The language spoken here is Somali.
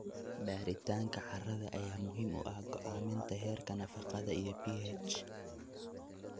Baaritaanka carrada ayaa muhiim u ah go'aaminta heerarka nafaqada iyo pH.